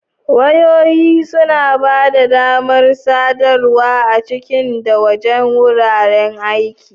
Wayoyi suna ba da damar sadarwa a ciki da wajen wurin aiki.